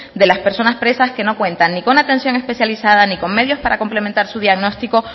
de las personas presas que no cuentan ni con atención especializada ni con medios para complementar su diagnóstico